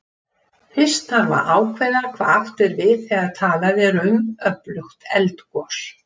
Fyrst þarf að ákveða hvað átt er við þegar talað er um öflugt eldgos.